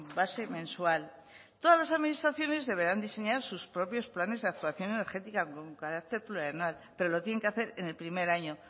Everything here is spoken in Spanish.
base mensual todas las administraciones deberán diseñar sus propios planes de actuación energética con carácter plurianual pero lo tienen que hacer en el primer año